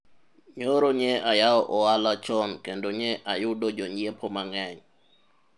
nyoro nye ayawo ohala chon kendo nye ayudo jonyiepo mang'eny